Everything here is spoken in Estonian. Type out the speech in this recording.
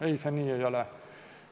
Ei, see nii ei ole.